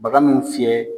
Baga mun fiyɛ